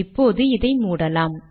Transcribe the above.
இப்போது இதை மூடலாம்